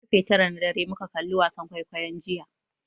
Ƙarfe tara na dare muka kalli wasan kwaikwayon jiya.